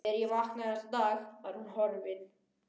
Þegar ég vaknaði næsta dag var hún horfin.